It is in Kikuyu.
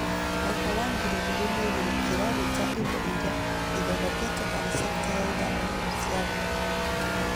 mwaka wa ngiri igĩrĩ kĩraruta indo iria ithondekagwo harĩ cekita ya iganda na gũciarithia